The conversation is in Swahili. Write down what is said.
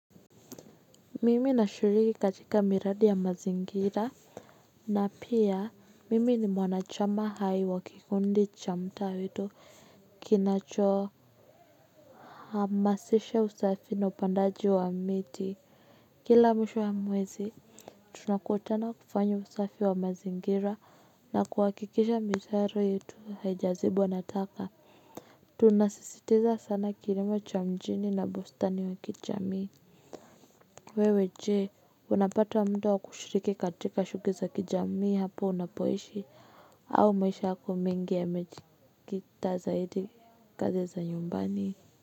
Mimi nashiriki katika miradi ya mazingira na pia mimi ni mwanachama hai wa kikundi cha mtaa wetu kinacho hamasisha usafi na upandaji wa miti. Kila mwisho wa mwezi tunakutana kufanya usafi wa mazingira na kuwakikisha mitaro yetu haijazibwa na taka. Tunasisitiza sana kilimo cha mjini na bustani wa kijamii. Wewe je, unapata mda wa kushiriki katika shughuli za kijamii hapo unapoishi, au maisha hako mengi ya mejiikita zaidi kazi za nyumbani.